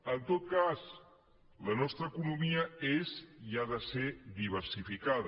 en tot cas la nostra economia és i ha de ser diversificada